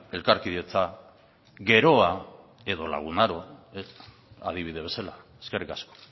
elkarkidetza geroa edo lagun aro adibide bezala eskerrik asko